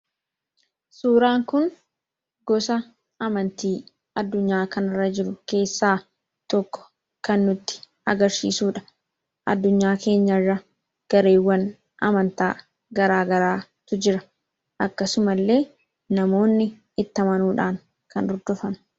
Suuraan kun gosa amantii addunyaa kanarra jiru keessaa tokko kan nutti agarsiisudha. Addunyaa keenyarra gareewwan amantaa garaagaraatu jira. Akkasumallee namoonni itti amanuudhaan kan hordofanidha.